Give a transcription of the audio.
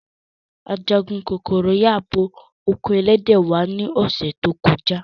Ajagun kokoro yabo oko elede wa ni ose to koja.